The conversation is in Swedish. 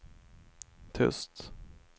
tyst